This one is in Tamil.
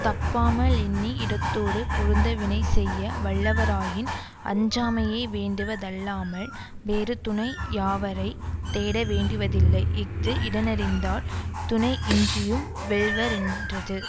தப்பாமலெண்ணி இடத்தோடு பொருந்த வினை செய்ய வல்லவராயின் அஞ்சாமையே வேண்டுவ தல்லாமல் வேறு துணையாவரைத் தேட வேண்டுவதில்லை இஃது இடனறிந்தால் துணையின்றியும் வெல்வரென்றது